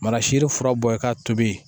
Mana siri fura bɔ i k'a tobi